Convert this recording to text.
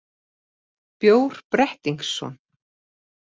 Bjór Brettingsson,